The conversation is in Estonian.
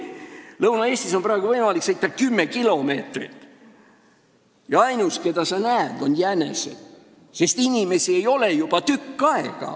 Lõuna-Eestis on praegu võimalik sõita 10 kilomeetrit jutti ja ainus, keda sa näed, on jänesed, sest inimesi ei ole seal juba tükk aega.